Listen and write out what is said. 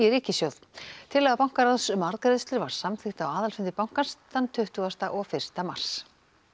ríkissjóð tillaga bankaráðs um arðgreiðslur var samþykkt á aðalfundi bankans tuttugasta og fyrsta mars